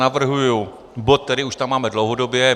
Navrhuji bod, který už tam máme dlouhodobě.